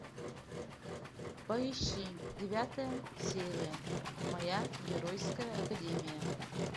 поищи девятая серия моя геройская академия